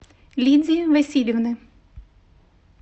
лидии васильевны